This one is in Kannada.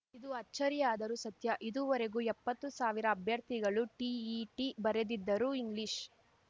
ಇದು ಅಚ್ಚರಿಯಾದರೂ ಸತ್ಯ ಇದುವರೆಗೂ ಎಪ್ಪತ್ತು ಸಾವಿರ ಅಭ್ಯರ್ಥಿಗಳು ಟಿಇಟಿ ಬರೆದಿದ್ದರೂ ಇಂಗ್ಲಿಷ್‌